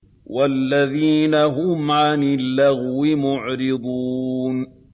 وَالَّذِينَ هُمْ عَنِ اللَّغْوِ مُعْرِضُونَ